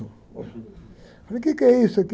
Eu falei, o quê que é isso aqui?